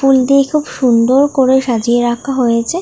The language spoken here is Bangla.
ফুল দিয়ে খুব সুন্দর করে সাজিয়ে রাখা হয়েছে।